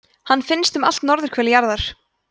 hann finnst um allt norðurhvel jarðar